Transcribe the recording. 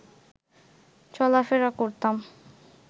চলাফেরা করতাম